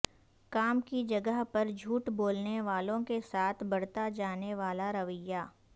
کام کی جگہ پر جھوٹ بولنے والوں کے ساتھ برتا جانے والا رویہ